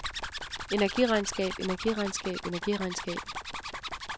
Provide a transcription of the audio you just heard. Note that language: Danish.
energiregnskab energiregnskab energiregnskab